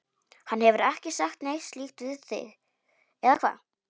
Hann hefur ekki sagt neitt slíkt við þig, eða hvað?